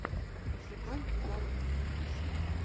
пошукай угарные ремиксы